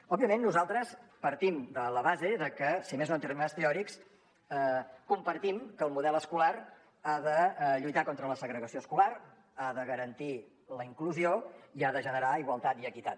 òbviament nosaltres partim de la base de que si més no en termes teòrics compartim que el model escolar ha de lluitar contra la segregació escolar ha de garantir la inclusió i ha de generar igualtat i equitat